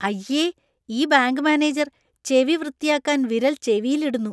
അയ്യേ . ഈ bank manager ചെവി വൃത്തിയാക്കാൻ വിരൽ ചെവിയിൽ ഇടുന്നു